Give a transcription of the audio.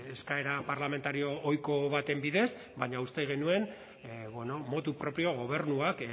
eskaera parlamentario ohiko baten bidez baina uste genuen bueno motu propio gobernuak